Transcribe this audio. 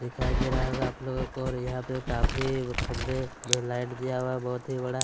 दिखाई दे रहा होगा आप लोगो को यहाँ पे काफी खंबे में लाइट दिया हुआ बहोत ही बड़ा--